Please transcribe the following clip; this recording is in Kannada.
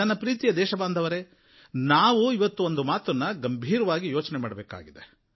ನನ್ನ ಪ್ರೀತಿಯ ದೇಶಬಾಂಧವರೇ ನಾವು ಇವತ್ತು ಒಂದು ಮಾತನ್ನು ಗಂಭೀರವಾಗಿ ಯೋಚನೆ ಮಾಡಬೇಕಾಗಿದೆ